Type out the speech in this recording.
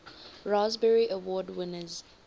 raspberry award winners